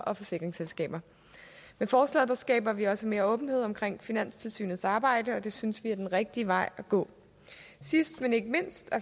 og forsikringsselskaber med forslaget skaber vi også mere åbenhed om finanstilsynets arbejde og det synes vi er den rigtige vej at gå sidst men ikke mindst